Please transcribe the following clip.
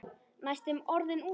Næstum orðinn úti